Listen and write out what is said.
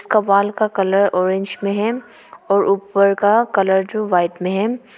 Wall का colour orange में है और ऊपर का कलर जो वाइट में हैं।